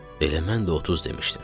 Elə mən də 30 demişdim.